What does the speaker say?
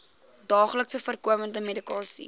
daagliks voorkomende medikasie